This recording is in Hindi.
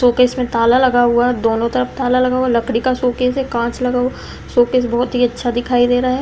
शोकेस में ताला लगा हुआ है। दोनों तरफ ताला लगा हुआ है। लकड़ी का शोकेस है। कांच लगा हुआ शोकेस बहोत ही अच्छा दिखाई दे रहा है।